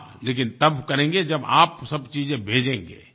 हाँ लेकिन तब करेंगे जब आप सब चीज़ें भेजेंगे